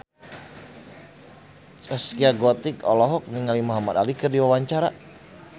Zaskia Gotik olohok ningali Muhamad Ali keur diwawancara